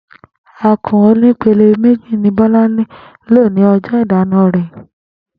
Àkún onípele méjì ni Bó̩lánlè lo ní o̩jó̩ ìdána rè̩